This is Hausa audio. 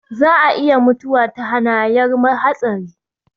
Za a iya mutuwa ta hanayar hatsari